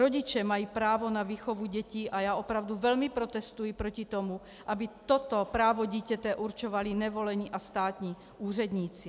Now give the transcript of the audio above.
Rodiče mají právo na výchovu dětí a já opravdu velmi protestuji proti tomu, aby toto právo dítěte určovali nevolení a státní úředníci.